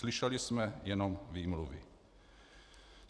Slyšeli jsme jenom výmluvy.